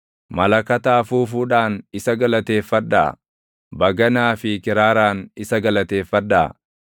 Malakata afuufuudhaan isa galateeffadhaa; baganaa fi kiraaraan isa galateeffadhaa;